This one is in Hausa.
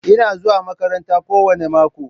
Ina zuwa makaranta kowane mako.